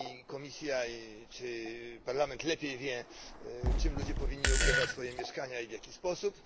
Komisja czy Parlament lepiej wiedzą, czym ludzie powinni ogrzewać swoje mieszkania i w jaki sposób.